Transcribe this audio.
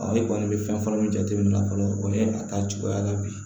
e kɔni bɛ fɛn fɔlɔ min jateminɛ fɔlɔ o ye a ta cogoya la bi